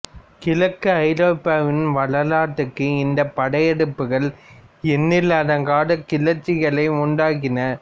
கிழக்கு ஐரோப்பாவின் வரலாற்றிற்கு இந்த படையெடுப்புகள் எண்ணிலடங்காத கிளர்ச்சிகளை உண்டாக்கின